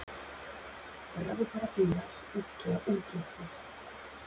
Ráðherrabílar illa útleiknir